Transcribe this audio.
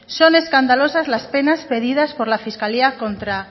son escandalosas las penas pedidas por la fiscalía contra